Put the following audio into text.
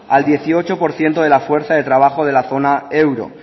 al dieciocho por ciento de la fuerza de trabajo de la zona euro